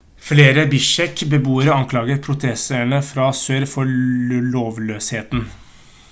flere bishkek-beboere anklaget protesterene fra sør for lovløsheten